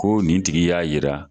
Ko nin tigi y'a jira.